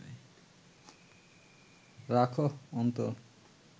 রাখহ অন্তর